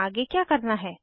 आगे क्या करना है160